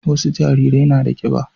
wasu jarirai na da kiba